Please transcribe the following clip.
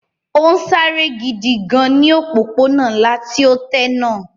Ó ń sáré gidi gan ní ọ̀pópónà ńlá tí ó tẹ́ náà